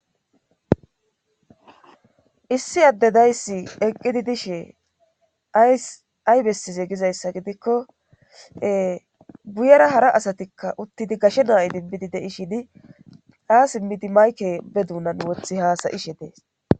issi addedayssi eqqidi dishe ay bessize gizayssa gidikko buyera hara asatikka uttidi gashe naayi dinbidi dei shidi aa simmidi mayke be duunan wothi haasayishe dees